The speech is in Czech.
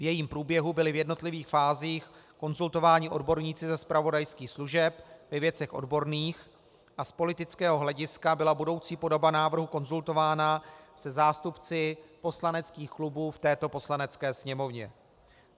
V jejím průběhu byly v jednotlivých fázích konzultováni odborníci ze zpravodajských služeb ve věcech odborných a z politického hlediska byla budoucí podoba návrhu konzultována se zástupci poslaneckých klubů v této Poslanecké sněmovně.